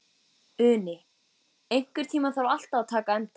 Uni, einhvern tímann þarf allt að taka enda.